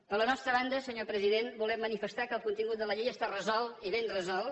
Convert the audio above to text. per la nostra banda senyor president volem manifestar que el contingut de la llei està resolt i ben resolt